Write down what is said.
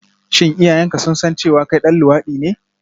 Shin iyayenka sun san cewa kai ɗan luwaɗi ne?